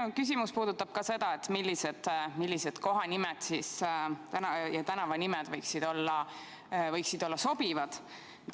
Minu küsimus puudutab ka seda, millised kohanimed ja tänavanimed võiksid olla sobivad.